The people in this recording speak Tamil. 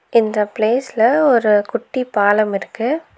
இந்த பிளேஸ்ல ஒரு குட்டி பாலம் இருக்கு.